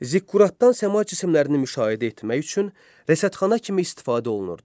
Ziqquratdan səma cisimlərini müşahidə etmək üçün rəsədxana kimi istifadə olunurdu.